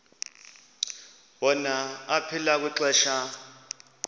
wona aphila kwixesha